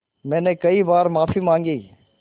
मैंने कई बार माफ़ी माँगी